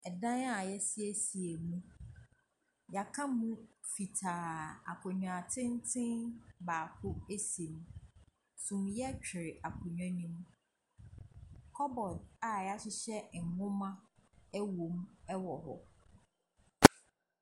Dan a wɔasiesie mu. Wɔaka mu fitaa. Akonnwa tenten baako si mu. Sumiiɛ twere akonnwa no mu. Cupboard a wɔahyehyɛ nwoma wɔ mu wɔ hɔ.